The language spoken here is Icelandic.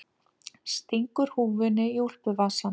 Stingur húfunni í úlpuvasann.